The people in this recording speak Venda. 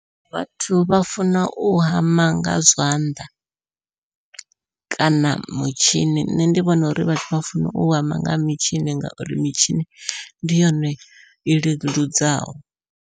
Vhathu vha funa u hama nga zwanḓa, kana mutshini nṋe ndi vhona uri vhathu vha funa u hama nga mitshini ngauri mitshini ndi yone i leludzaho.